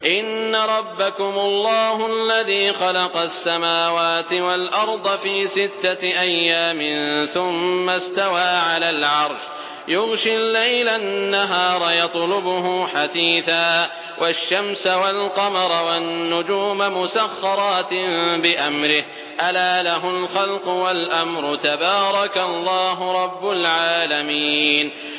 إِنَّ رَبَّكُمُ اللَّهُ الَّذِي خَلَقَ السَّمَاوَاتِ وَالْأَرْضَ فِي سِتَّةِ أَيَّامٍ ثُمَّ اسْتَوَىٰ عَلَى الْعَرْشِ يُغْشِي اللَّيْلَ النَّهَارَ يَطْلُبُهُ حَثِيثًا وَالشَّمْسَ وَالْقَمَرَ وَالنُّجُومَ مُسَخَّرَاتٍ بِأَمْرِهِ ۗ أَلَا لَهُ الْخَلْقُ وَالْأَمْرُ ۗ تَبَارَكَ اللَّهُ رَبُّ الْعَالَمِينَ